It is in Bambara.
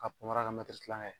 K'a panparan kɛ tilancɛ ye